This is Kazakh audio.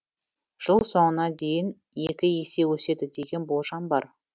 жыл соңына дейін екі есе өседі деген болжам бар